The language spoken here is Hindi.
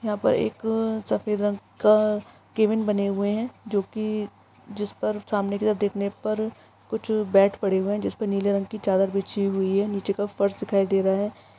यहा पर एक सफेद रंग का केबिन बने हुए है | जोकी जिस पर सामने की तरफ देखने पर कुछ बेड़स पड़े हुए है जिस पर नीले रंग की चादर बीछी हुई है नीचे का फर्श दिखाई दे रहा है।